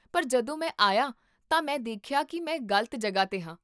ਪਰ ਜਦੋਂ ਮੈਂ ਆਇਆ ਤਾਂ, ਮੈਂ ਦੇਖਿਆ ਕੀ ਮੈਂ ਗ਼ਲਤ ਜਗ੍ਹਾ 'ਤੇ ਹਾਂ